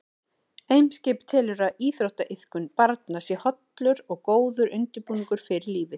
Eimskip telur að íþróttaiðkun barna sé hollur og góður undirbúningur fyrir lífið.